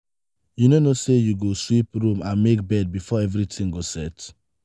you no know say you go sweep room and make bed before everything go set.